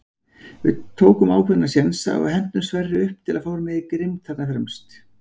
Við tókum ákveðna sénsa og hentum Sverri upp til að fá meiri grimmd þarna fremst.